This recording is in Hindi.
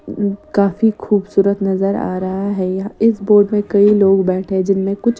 काफी खूबसूरत नजर आ रहा है यहां। इस बोट में कई लोग बैठे जिनमें कुछ--